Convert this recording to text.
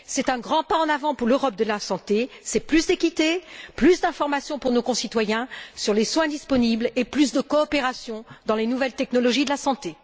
C'est un grand pas en avant pour l'Europe de la santé, c'est plus d'équité, plus d'information pour nos concitoyens sur les soins disponibles, et plus de coopération dans les nouvelles technologies de la santé.